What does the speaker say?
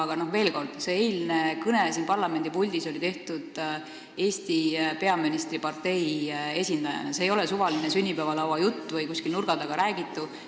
Aga veel kord, see eilne kõne siin parlamendipuldis peeti Eesti peaministri partei esindaja kõnena, see ei olnud suvaline sünnipäevalauajutt või kuskil nurga taga räägitu.